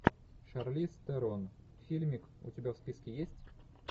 шарлиз терон фильмик у тебя в списке есть